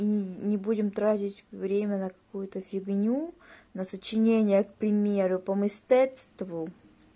и не будем тратить время на какую-то фигню на сочинение к примеру по мистецтву